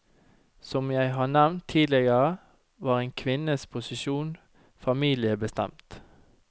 Som jeg har nevnt tidligere, var en kvinnes posisjon familiebestemt.